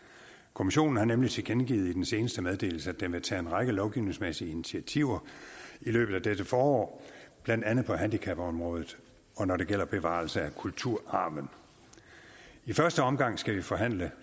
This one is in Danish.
kommissionen har nemlig tilkendegivet i den seneste meddelelse at den vil tage en række lovgivningsmæssige initiativer i løbet af dette forår blandt andet på handicapområdet og når det gælder bevarelse af kulturarven i første omgang skal vi forhandle